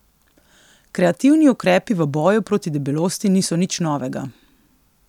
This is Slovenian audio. Kreativni ukrepi v boju proti debelosti niso nič novega.